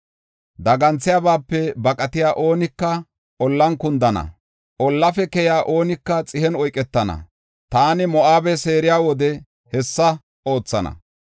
Daganthiyabaape baqatiya oonika ollan kundana; ollafe keyiya oonika xihen oyketana. Taani Moo7abe seeriya wode hessa oothana.